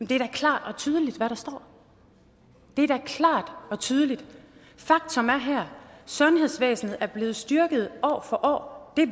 det er da klart og tydeligt hvad der står det er da klart og tydeligt faktum her er sundhedsvæsenet er blevet styrket år for år det